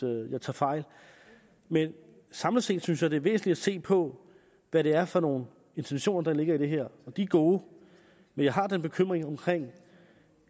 jeg tager fejl men samlet set synes jeg det er væsentligt at se på hvad det er for nogle intentioner der ligger i det her de er gode men jeg har den bekymring